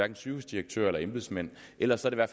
sygehusdirektører eller embedsmænd ellers er der